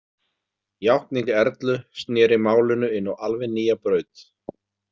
Játning Erlu sneri málinu inn á alveg nýja braut.